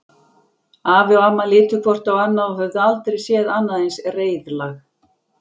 Afi og amma litu hvort á annað og höfðu aldrei séð annað eins reiðlag.